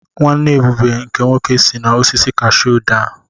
Nwanne Ebube nke nwoke si n’osisi kashuu daa.